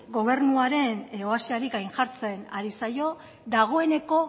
gobernuaren oasiari gainjartzen ari zaio dagoeneko